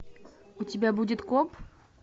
у тебя будет коп